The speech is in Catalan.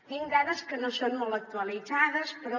tinc dades que no són molt actualitzades però